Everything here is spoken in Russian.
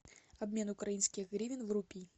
обмен украинских гривен в рупии